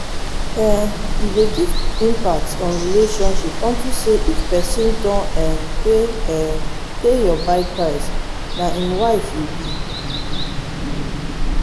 um e dey give impact on relationship unto say if pesin don um pay um pay your bride price na im wife you be.